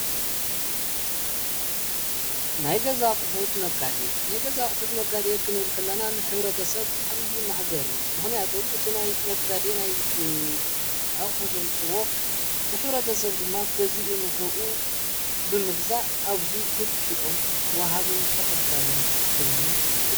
ናይ ገዛ ኣቕሑት ነጋዴ፡- ናይ ገዛ ኣቕሑት ነጋዴ ክንብል ከለና ንሕብረተ ሰብ ዓብዪ መእገር እዩ፡፡ ምኽንያቱም እቲ ናይ ነጋዴ ናይ ኣቑሑ ዘምጽእዎ ትሕብረተ ሰብ ድማ ገዚኡ ንኡኡ ብምግዛእ ኣብዙይ ክልቲኦም ውሃብን ተቐባልን ኮይኖም...